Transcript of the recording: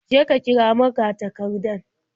Je ka kira magatakardan.